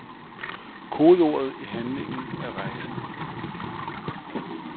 Kodeordet i handlingen er rejse.